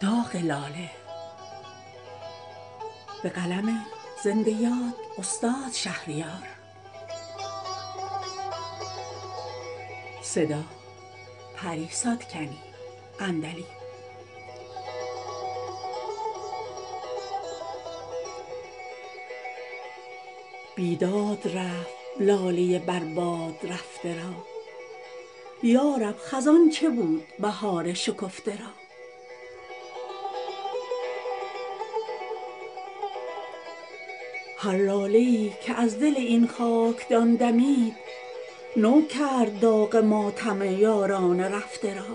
بیداد رفت لاله بر باد رفته را یا رب خزان چه بود بهار شکفته را هر لاله ای که از دل این خاکدان دمید نو کرد داغ ماتم یاران رفته را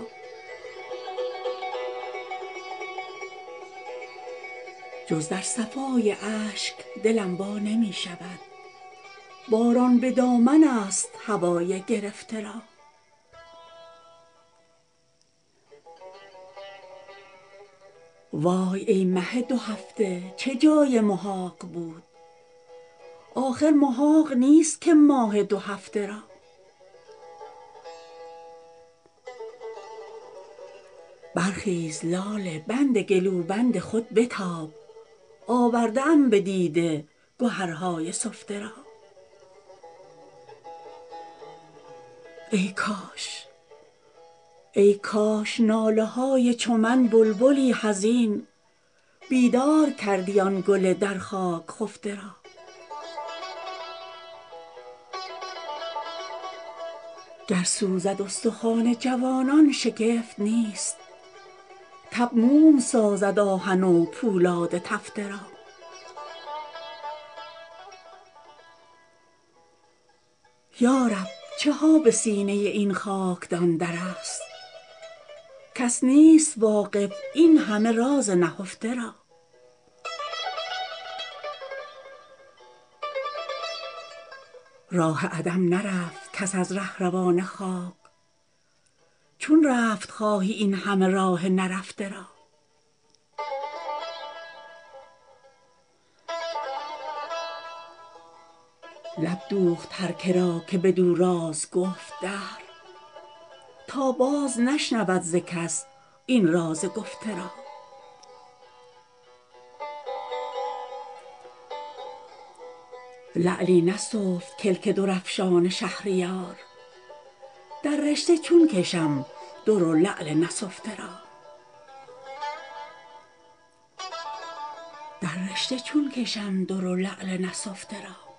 جز در صفای اشک دلم وا نمی شود باران به دامن است هوای گرفته را وای ای مه دو هفته چه جای محاق بود آخر محاق نیست که ماه دو هفته را برخیز لاله بند گلوبند خود بتاب آورده ام به دیده گهرهای سفته را ای کاش ناله های چو من بلبلی حزین بیدار کردی آن گل در خاک خفته را گر سوزد استخوان جوانان شگفت نیست تب موم سازد آهن و پولاد تفته را گردون برات خوشدلی کس نخوانده است اینجا همیشه رد و نکول است سفته را این گوژپشت تیرقدان راست تر زند چندین کمین نکرده کمان های چفته را یارب چه ها به سینه این خاکدان در است کس نیست واقف این همه راز نهفته را راه عدم نرفت کس از رهروان خاک چون رفت خواهی اینهمه راه نرفته را لب دوخت هر کرا که بدو راز گفت دهر تا باز نشنود ز کس این راز گفته را لعلی نسفت کلک در افشان شهریار در رشته چون کشم در و لعل نسفته را